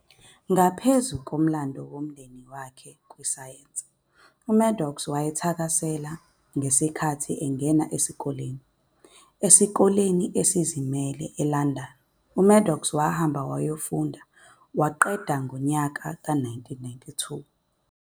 Naphezu komlando womndeni wakhe kwi sayensi, uMaddox wayethakasele i- ngenkathi engena isikole e-, isikole esizimele sabafana eLandani. uMaddox wahamba wayofunda i- e waqeda ngo 1992.